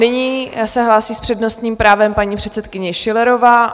Nyní se hlásí s přednostním právem paní předsedkyně Schillerová.